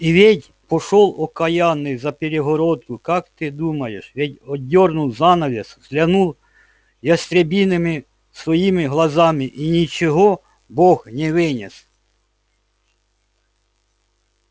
и ведь пошёл окаянный за перегородку как ты думаешь ведь отдёрнул занавес взглянул ястребиными своими глазами и ничего бог не вынес